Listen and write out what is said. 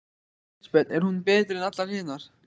Elísabet: Er hún betri en allar hinar?